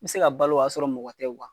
N mi se ka balo o y'a sɔrɔ mɔgɔ tɛ